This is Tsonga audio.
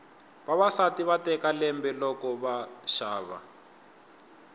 vavasati va teka lembe loko va xava